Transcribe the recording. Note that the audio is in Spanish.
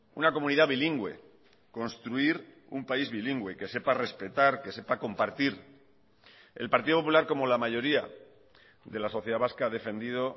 una comunidad bilingüe construir un país bilingüe que sepa respetar que sepa compartir el partido popular como la mayoría de la sociedad vasca ha defendido